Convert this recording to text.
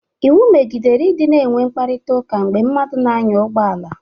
Iwu megidere ị dịna enwe mkparịtaụka mgbe mmadụ na-anya ụgbọala.